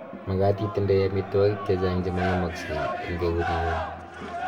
Magat itindoi amitwokik chechang chemang�emaksei eng eut ngu�ng